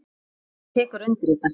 Hann tekur undir þetta.